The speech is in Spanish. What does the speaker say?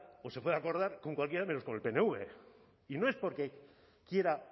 o se puede acordar con cualquiera menos con el pnv y no es porque quiera